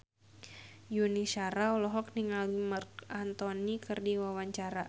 Yuni Shara olohok ningali Marc Anthony keur diwawancara